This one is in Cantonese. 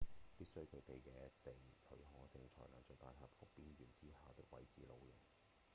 必須具備野地許可證才能在大峽谷邊緣之下的位置露營